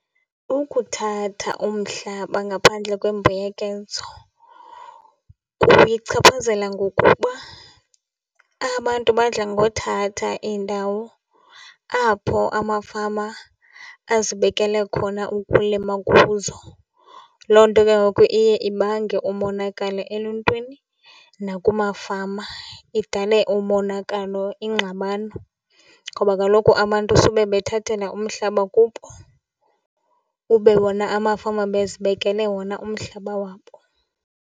Ukuthatha umhlaba ngaphandle kwembuyekezo kuyichaphazela ngokuba abantu badla ngothatha indawo apho amafama azibekele khona ukulima kuzo, loo nto ke ngoku iye ibange umonakalo eluntwini nakumafama, idale umonakalo, ingxabano ngoba kaloku abantu sube bethathela umhlaba kubo ube wona amafama bezibekele wona umhlaba wabo.